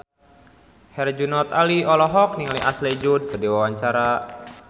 Herjunot Ali olohok ningali Ashley Judd keur diwawancara